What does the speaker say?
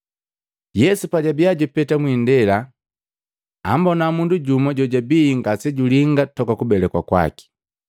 Yesu pajabiya jupeta mwindela, ambona mundu jumu jojabii ngasejulinga toka kubelekwa kwaki.